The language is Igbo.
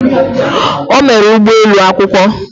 O mere ụgbọ elu akwụkwọ.